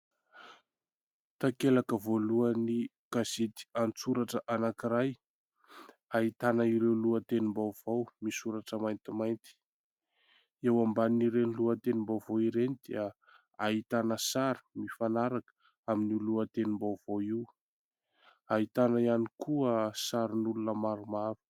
Takelaka voalohany gazety an-tsoratra anankiray : ahitana ireo lohatenim-baovao misoratra maintimainty; eo ambanin'ireny lohatenim-baovao ireny dia ahitana sary mifanaraka amin'ny lohatenim-baovao io; ahitana ihany koa sarin'olona maromaro.